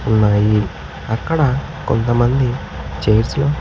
ఉన్నాయి అక్కడ కొంతమంది చైర్స్ లో.